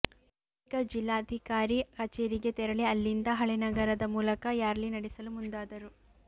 ಬಳಿಕ ಜಿಲ್ಲಾ ಧಿಕಾರಿ ಕಚೇರಿಗೆ ತೆರಳಿ ಅಲ್ಲಿಂದ ಹಳೆ ನಗರದ ಮೂಲಕ ರ್ಯಾಲಿ ನಡೆಸಲು ಮುಂದಾದರು